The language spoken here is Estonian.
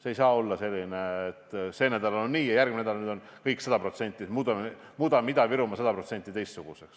See ei saa olla selline, et sel nädalal on nii ja järgmisel nädalal muudame Ida-Virumaa sada protsenti teistsuguseks.